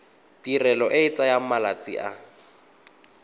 tirelo e tsaya malatsi a